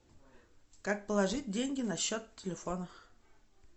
как положить деньги на счет телефона